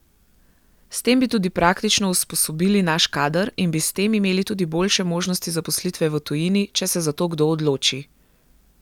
S tem bi tudi praktično usposobili naš kader in bi s tem imeli tudi boljše možnosti zaposlitve v tujini, če se za to kdo odloči.